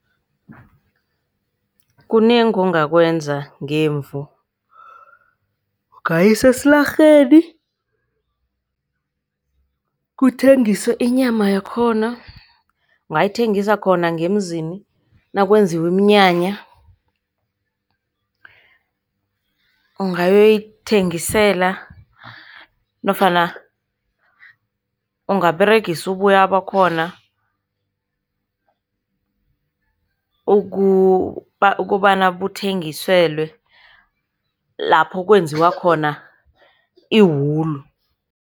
Kunengi ongakwenza ngemvu. Ungayisa eslarheni, kuthengiswe inyama yakhona, ungayithengisa khona ngemzini, nakwenziwe iminyanya, ungayoyithengisela nofana ungaberegisa uboya bakhona, ukobana buthengiselwe lapho kwenziwa khona iwulu.